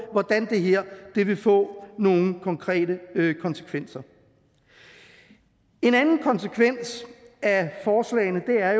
hvordan det her vil få nogle konkrete konsekvenser en anden konsekvens af forslagene er